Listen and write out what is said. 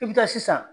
I bɛ taa sisan